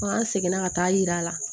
An seginna ka taa yira la